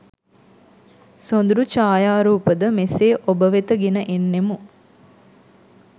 සොඳුරු ඡායාරූප ද මෙසේ ඔබ වෙත ගෙන එන්නෙමු